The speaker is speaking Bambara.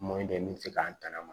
dɔ ye min bɛ se k'an tanga ma